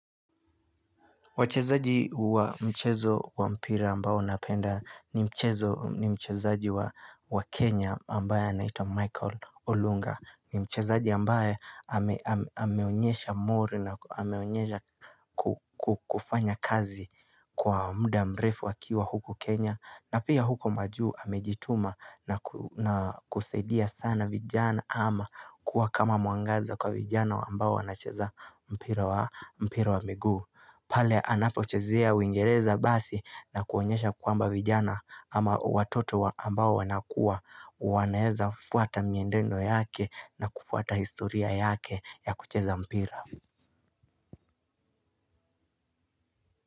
Wachezaji wa mchezo wa mpira ambao napenda ni mchezaji wa Kenya ambaye anaitwa Michael Olunga. Ni mchezaji ambae ameonyesha mori na ameonyesha kufanya kazi kwa muda mrefu akiwa huku Kenya. Na pia huko majuu amejituma na kusaidia sana vijana ama kuwa kama mwangaza kwa vijana ambao wanacheza mpira wa miguu. Pale anapochezea uingereza basi na kuonyesha kwamba vijana ama watoto ambao wanakua wanaeza fuata miendendo yake na kufuata historia yake ya kucheza mpira.